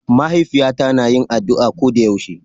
Ma'haifiyata na yin addu'a koda yaushe.